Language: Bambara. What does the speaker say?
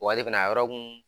ale fɛna a yɔrɔ kun